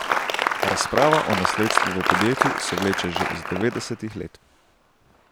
Razprava o nasledstvu v podjetju se vleče že iz devetdesetih let.